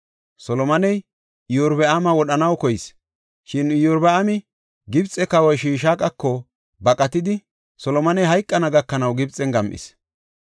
Solomoney Iyorbaama wodhanaw koyis; shin Iyorbaami Gibxe kawa Shishaaqako baqatidi, Solomoney hayqana gakanaw Gibxen gam7is.